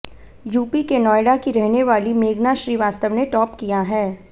UP के नोएडा की रहने वाली मेघना श्रीवास्तव ने टॉप किया है